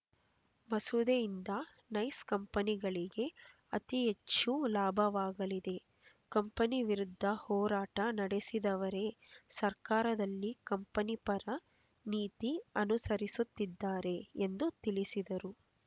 ಮಸೂದೆಯಿಂದ ನೈಸ್ ಕಂಪನಿಗಳಿಗೆ ಅತಿ ಹೆಚ್ಚು ಲಾಭವಾಗಲಿದೆ ಕಂಪನಿವಿರುದ್ಧ ಹೋರಾಟ ನಡೆಸಿದವರೆ ಸರ್ಕಾರದಲ್ಲಿ ಕಂಪನಿ ಪರ ನೀತಿ ಅನುಸರಿಸುತ್ತಿದ್ದಾರೆ ಎಂದು ತಿಳಿಸಿದರು